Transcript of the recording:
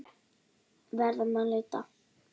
Verðum að leita.